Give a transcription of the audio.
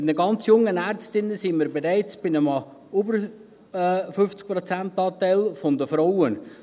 Und bei den ganz jungen Ärztinnen sind wir bereits bei über 50 Prozent Anteil an Frauen.